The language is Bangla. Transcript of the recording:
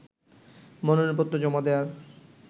মনোনয়নপত্র জমা দেয়ার